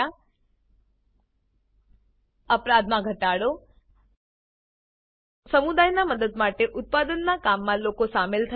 crime rate reduced અપરાધ દરમાં ઘટાડો સમુદાયના મદદ માટે ઉત્પાદનના કામ મા લોકો સામેલ થયા